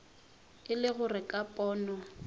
e le gore ka pono